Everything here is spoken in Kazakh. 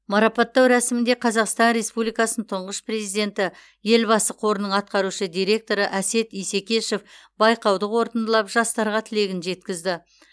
марапаттау рәсімінде қазақстан республикасының тұңғыш президенті елбасы қорының атқарушы директоры әсет исекешев байқауды қорытындылап жастарға тілегін жеткізді